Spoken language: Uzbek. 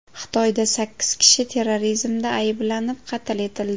Xitoyda sakkiz kishi terrorizmda ayblanib, qatl etildi.